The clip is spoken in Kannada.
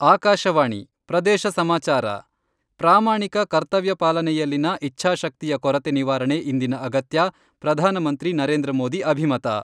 ಆಕಾಶವಾಣಿ ಪ್ರದೇಶ ಸಮಾಚಾರ, ಪ್ರಾಮಾಣಿಕ ಕರ್ತವ್ಯಪಾಲನೆಯಲ್ಲಿನ ಇಚ್ಛಾಶಕ್ತಿಯ ಕೊರತೆ ನಿವಾರಣೆ ಇಂದಿನ ಅಗತ್ಯ, ಪ್ರಧಾನಮಂತ್ರಿ ನರೇಂದ್ರ ಮೋದಿ ಅಭಿಮತ.